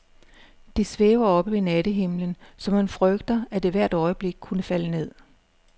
Det svæver oppe i nattehimlen, så man frygter, at det hvert øjeblik kunne falde ned.